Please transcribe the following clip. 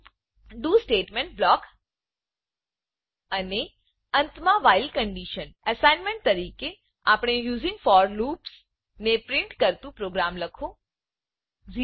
do do statement block અને અંત માં વ્હાઇલ વાઇલકન્ડીશન એસાઈનમેન્ટ તરીકે આપેલ using for loops using for loop ને પ્રિન્ટ કરતું પ્રોગ્રામ લખો